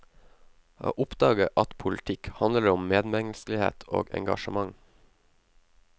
Å oppdage at politikk handler om medmenneskelighet og engasjement.